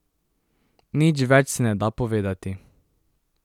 Nič več se ne da povedati.